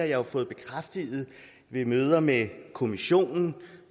jo fået bekræftet ved møder med kommissionen og